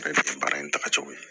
Ale bɛ kɛ baara in tagacogo ye